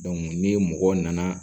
ni mɔgɔ nana